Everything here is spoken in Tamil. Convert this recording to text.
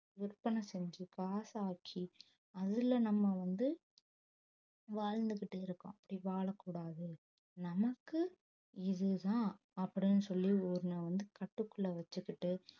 விற்பனை செஞ்சு காசா ஆக்கி அதுல நம்ம வந்து வாழ்ந்துகிட்டு இருக்கோம் அப்படி வாழக்கூடாது நமக்கு இதுதான் அப்படின்னு சொல்லி வந்து கட்டுக்குள்ள வச்சுக்கிட்டு